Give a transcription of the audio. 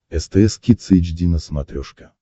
стс кидс эйч ди на смотрешке